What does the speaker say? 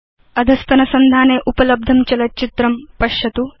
अधस्तनसंधाने उपलब्धं चलच्चित्रं पश्यतु